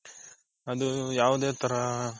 ಅದು ಯಾವುದೇ ತರ,